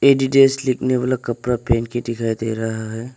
Adidas लिखने वाला कपड़ा पहन के दिखाई दे रहा है।